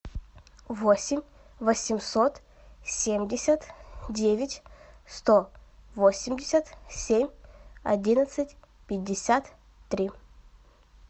восемь восемьсот семьдесят девять сто восемьдесят семь одиннадцать пятьдесят три